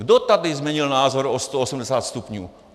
Kdo tady změnil názor o 180 stupňů?